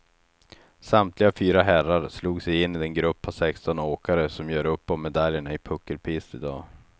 Samtliga fyra herrar slog sig in i den grupp på sexton åkare som gör upp om medaljerna i puckelpist idag.